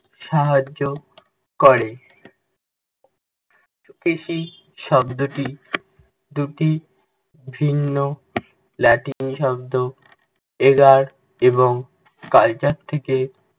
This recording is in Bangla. সাহায্য করে। কৃষি শব্দটি দুটি ভিন্ন latin শব্দ ager এবং culture থেকে